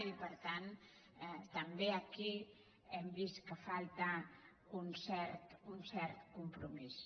i per tant també aquí hem vist que falta un cert compromís